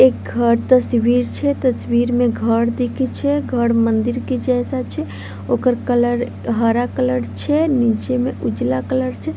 एक घर तस्वीर छैतस्वीर मे घर दिखए छै घर मंदिर के जैसा छै ओकर कलर हरा कलर छे नीचे मे उजला कलर छै।